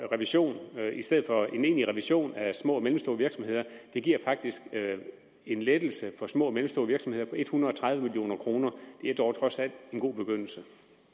revision i stedet for en egentlig revision af små og mellemstore virksomheder faktisk en lettelse for små og mellemstore virksomheder på en hundrede og tredive million kroner det er dog trods alt en god begyndelse